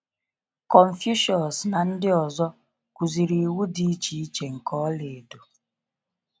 Confucius na ndị ọzọ kuziri iwu dị iche iche nke ola edo.